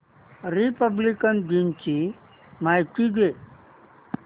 Republic दिन ची माहिती दे